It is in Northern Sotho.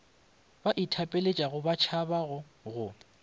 ba ithapeletšago ba tšhabago go